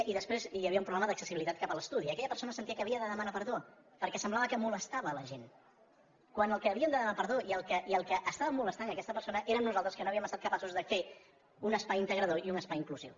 i després hi havia un problema d’accessibilitat cap a l’estudi aquella persona sentia que havia de demanar perdó perquè semblava que molestava la gent quan els que havien de demanar perdó i els que estàvem molestant aquesta persona érem nosaltres que no havíem estat capaços de fer un espai integrador i un espai inclusiu